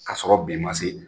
K 'a sɔrɔ bi ma se fɔlɔ.